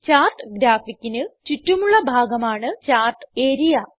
chart ഗ്രാഫിക്കിന് ചുറ്റുമുള്ള ഭാഗമാണ് ചാർട്ട് ആരിയ